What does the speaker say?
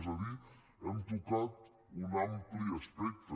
és a dir hem tocat un ampli espectre